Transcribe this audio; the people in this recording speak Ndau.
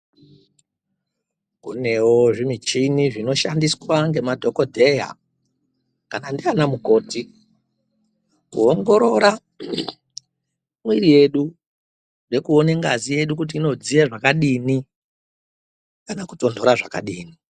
Kunewo zvimichini zvinoshandiswa ngemadhogodheya kana ndiana mukoti kuongorora mwiiri yedu nekuone ngazi yedu kuti inodziye zvakadini kana kutonhora zvakadini.